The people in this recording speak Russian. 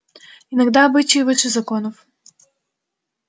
иногда обычаи выше законов